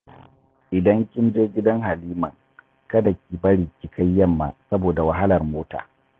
Idan kin je gidan Haliman, kada ki bari ki kai yamma saboda wahalar mota